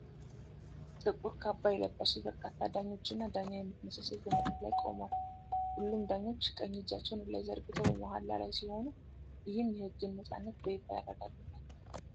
ጥቁር ካባ የለበሱ በርካታ ዳኞችና ዳኛ የምትመስል ሴት በመድረክ ላይ ቆመዋል። ሁሉም ዳኞች በቀኝ እጃቸውን ወደ ላይ ዘርግተው በመሃላ ላይ ሲሆኑ፣ ይህም የሕግን ነፃነት በይፋ ያረጋግጣል።